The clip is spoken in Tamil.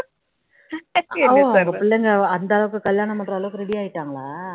பிள்லைங்க அந்த அளவுக்கு கல்யாணம் பண்ற அளவுக்கு ready ஆகிடாங்களா